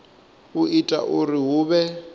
u ita uri hu vhe